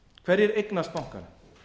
hverjir eignast bankana